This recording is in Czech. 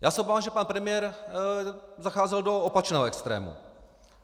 Já se obávám, že pan premiér zacházel do opačného extrému.